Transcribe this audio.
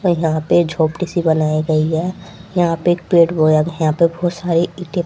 यहां पे झोपड़ी सी बनाई गई है यहां पे एक पेड़ बोया यहां पे बोहोत सारी ईंटें --